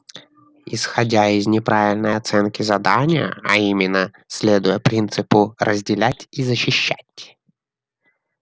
исходя из неправильной оценки задания а именно следуя принципу разделять и защищать